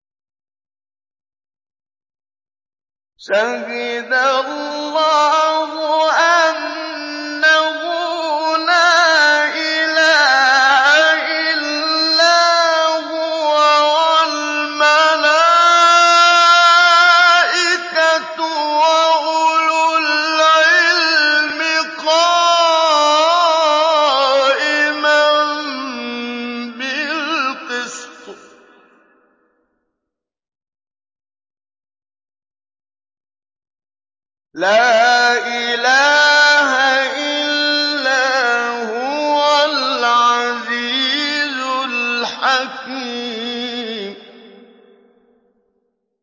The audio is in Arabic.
شَهِدَ اللَّهُ أَنَّهُ لَا إِلَٰهَ إِلَّا هُوَ وَالْمَلَائِكَةُ وَأُولُو الْعِلْمِ قَائِمًا بِالْقِسْطِ ۚ لَا إِلَٰهَ إِلَّا هُوَ الْعَزِيزُ الْحَكِيمُ